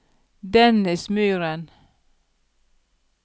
Dennis Myhren